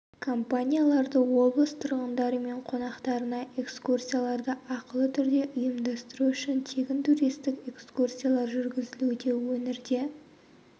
компанияларды облыс тұрғындары мен қонақтарына экскурсияларды ақылы түрде ұйымдастыру үшін тегін туристік экскурсиялар жүргізілуде өңірде